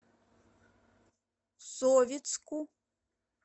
советску